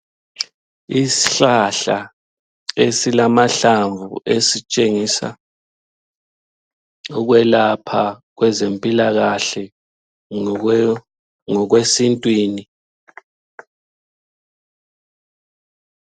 Ishlahla esilamahlamvu esitshengisa ukwelapha kwezempilakahle ngokwesintwini.